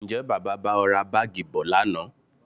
Ǹjẹ́ Bàbá bá ọ ra Báágì bọ̀ lánàá?